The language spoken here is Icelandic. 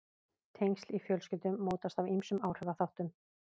Tengsl í fjölskyldum mótast af ýmsum áhrifaþáttum.